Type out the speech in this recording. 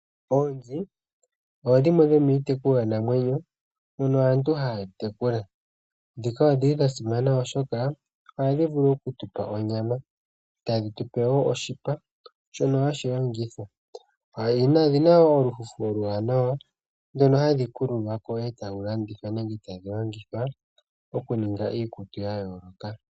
Oonzi odho dhimwe dhomiitekulwanamwenyo ndhono aantu haya tekula. Ndhika odhili dhasimana ,oshoka ohadhi vulu okutupa onyama, tadhi tu pe wo oshipa , shono hashi longithwa . Odhina wo olufufu oluwanawa , ndino halu kululwako etalu landithwa nenge etalu longithwa okuninga iikutu yayooloka.